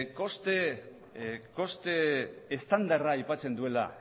koste estandarra aipatzen duela